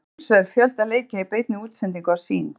Að sjálfsögðu er fjölda leikja í beinni útsendingu á Sýn.